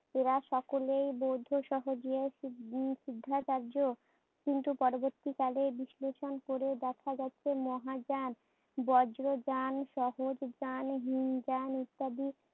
এরা সকলেই বৌদ্ধ সিদ্ধিসিদ্ধাচার্য, কিন্তু পরবর্তীকালে বিশ্লেষণ করে দেখা যাচ্ছে মহাজান